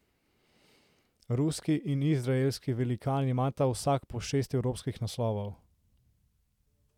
Ruski in izraelski velikan imata vsak po šest evropskih naslovov.